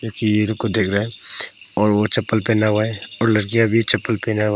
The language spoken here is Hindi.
कि इनको देख रहा है और वो चप्पल पहना हुआ है और लड़कियां भी चप्पल पहना हुआ है।